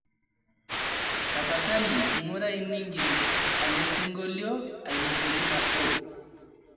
tapasali ngurai ningil elesingolio ainotoki nabo